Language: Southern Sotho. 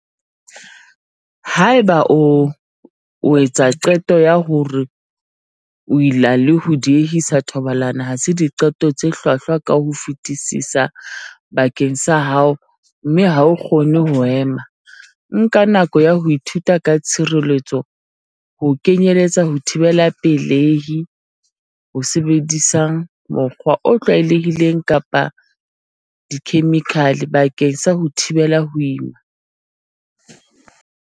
Haeba o etsa qeto ya hore ho ila le ho diehisa thobalano ha se diqeto tse hlwahlwa ka ho fetisisa bakeng sa hao mme ha o kgone ho ema, nka nako ya ho ithuta ka tshireletso, ho kenyeletsa ho thibela pele-hi, ho sebedisang mokgwa, o tlwaelehileng kapa wa dikhemikhale, bakeng sa ho thibela ho ima.